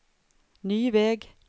ny väg